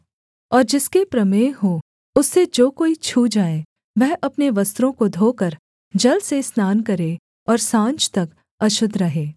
और जिसके प्रमेह हो उससे जो कोई छू जाए वह अपने वस्त्रों को धोकर जल से स्नान करे और साँझ तक अशुद्ध रहे